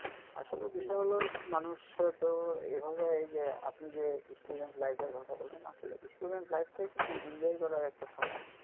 আসলে বিষয় হলো মানুষের তো এইভাবে এই যে আপনি যে student life এর কথা বললেন আসলে student life টাই কিন্তু enjoy করার একটা সময়.